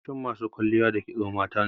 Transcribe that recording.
Yawancin masu kwalliya da kisto matane.